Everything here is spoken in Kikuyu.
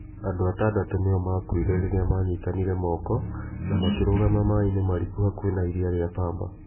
Andũ atandatũ nĩo maakuire rĩrĩa maanyitanĩire moko na makĩrũgama maĩ-inĩ mariku hakuhĩ na Iria rĩa Pambar